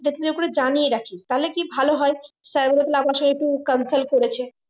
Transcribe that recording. এটা একটু জানিয়ে রাখি তাহলে কি ভালো হয় sir বলবে আমার সঙ্গে একটু consult করেছে